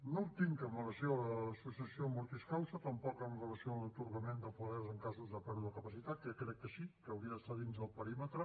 no en tinc amb relació a la successió mortis causa tampoc amb relació a l’atorgament de poder en casos de pèrdua de capacitat que crec que sí que hauria d’estar dins del perímetre